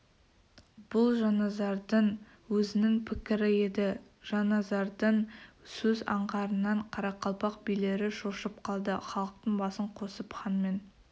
бұл жанназардың өзінің пікірі еді жанназардың сөз аңғарынан қарақалпақ билері шошып қалды халықтың басын қосып ханмен